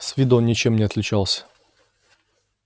с виду он ничем не отличался